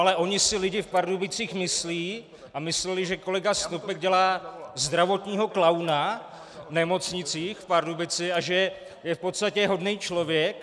Ale oni si lidi v Pardubicích myslí a mysleli, že kolega Snopek dělá zdravotního klauna v nemocnicích v Pardubicích a že je v podstatě hodný člověk.